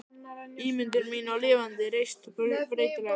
Ímyndun mín var lifandi, reist, breytileg.